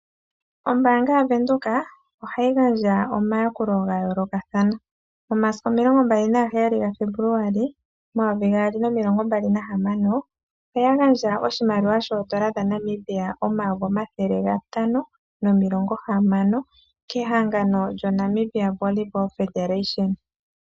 Ombaanga ya Venduka ohayi gandja omayakulo ga yoolokathana. Momasiku omilongo mbali naga heyali ga February omayovi gaali nomilongo mbali nahamano. Oya gandja oshimaliwa shoodola dha Namibia omayovi omathele gatano nomilongo hamano kehangano Namibia Volleyball Federation.